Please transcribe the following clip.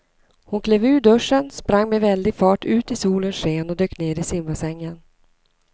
Hon klev ur duschen, sprang med väldig fart ut i solens sken och dök ner i simbassängen.